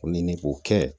O ɲini k'o kɛ